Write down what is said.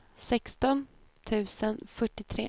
sexton tusen fyrtiotre